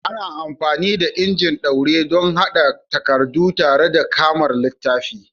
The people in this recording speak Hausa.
Ana amfani da injin ɗaure don haɗa takardu tare kamar littafi.